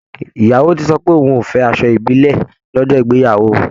Ìyàwó ti sọ pé òun ò fẹ́ asọ ìbílẹ̀ lọ́jọ́ ìgbeyàwó òun